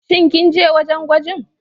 Shin kinje wajan gwajin?